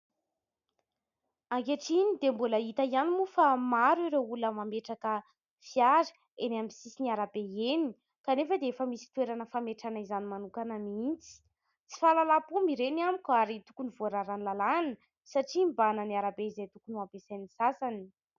Ankehitriny dia mbola hita ihany moa fa maro ireo olona mametraka fiara eny amin'ny sisin'ny arabe eny kanefa dia efa misy toerana fametrahana izany manokana mihitsy. Tsy fahalalam-pomba ireny amiko ary tokony voararan'ny lalàna satria mibahana ny arabe izay tokony ho ampiasain'ny sasany.